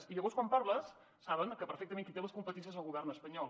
i llavors quan hi parles saben perfectament que qui té les competències és el govern espanyol